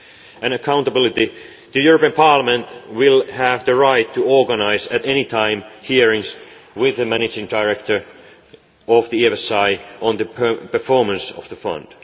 On accountability, Parliament will have the right to organise, at any time, hearings with the managing director of the EFSI on the performance of the